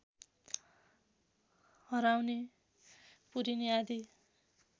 हराउने पुरिने आदि